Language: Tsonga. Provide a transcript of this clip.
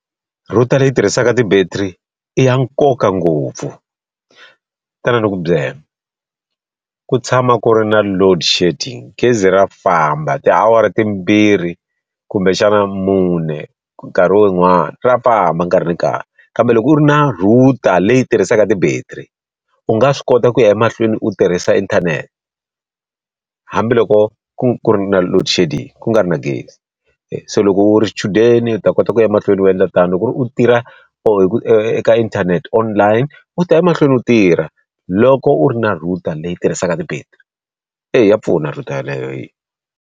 Router leyi tirhisaka ti-battery i ya nkoka ngopfu. Tan ani ku byela. Ku tshama ku ri na loadshedding gezi ra famba tiawara timbirhi kumbexana mune nkarhi wo yin'wani ra famba nkarhi ni nkarhi. Kambe loko u ri na router leyi tirhisaka ti-battery u nga swi kota ku ya emahlweni u tirhisa inthanete, hambiloko ku ku ri na loadshedding ku nga ri na gezi. Se loko u ri xichudeni u ta kota ku ya mahlweni u endla tani, loko ku ri ku u tirha eka inthanete online, u ta ya mahlweni u tirha loko u ri na router leyi tirhisaka ti-battery. Eya ya pfuna router yeleyo yi.